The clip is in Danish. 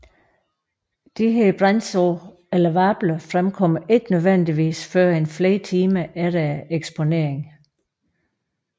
Disse brandsår eller vabler fremkommer ikke nødvendigvis førend flere timer efter eksponering